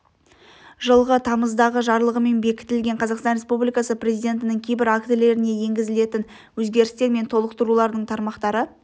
жылғы тамыздағы жарлығымен бекітілген қазақстан республикасы президентінің кейбір актілеріне енгізілетін өзгерістер мен толықтырулардың тармақтары